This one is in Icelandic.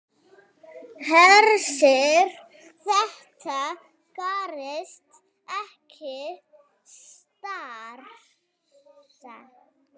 Hersir: Þetta gerist ekki strax?